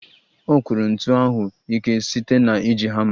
Ọ kụrụ ntu ahụ ike site na iji hama